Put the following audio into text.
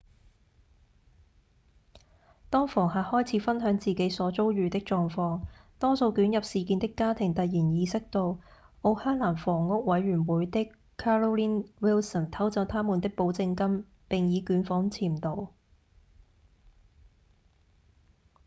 當房客開始分享自己所遭遇的狀況多數捲入事件的家庭突然意識到奧克蘭房屋委員會的 carolyn wilson 偷走他們的保證金並已捲款潛逃